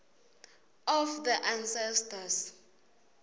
of the ancestors